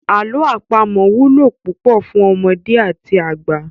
Àlọ́ àpamọ wúlò púpọ̀ fún ọmọdé àti àgbà.